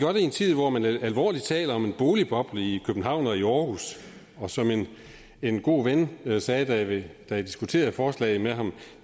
i en tid hvor man alvorligt taler om en boligboble i københavn og i aarhus og som en god ven sagde da jeg diskuterede forslaget med ham